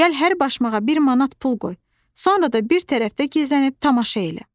Gəl hər başmağa bir manat pul qoy, sonra da bir tərəfdə gizlənib tamaşa elə."